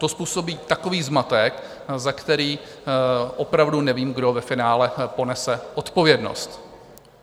To způsobí takový zmatek, za který opravdu nevím, kdo ve finále ponese odpovědnost.